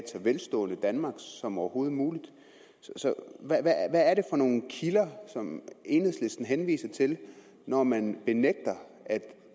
så velstående danmark som overhovedet muligt så hvad er det for nogle kilder som enhedslisten henviser til når man benægter at